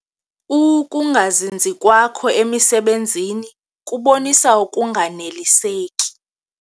Ukungazinzi kwakho emisebenzini kubonisa ukunganeliseki.